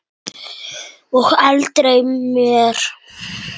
Og aldrei meir.